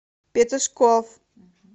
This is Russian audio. петушков